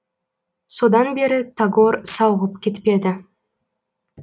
содан бері тагор сауығып кетпеді